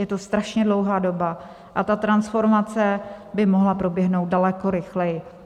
Je to strašně dlouhá doba a ta transformace by mohla proběhnout daleko rychleji.